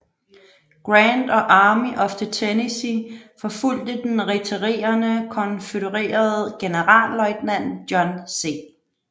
Grant og Army of the Tennessee forfulgte den retirerende konfødererede generalløjtnant John C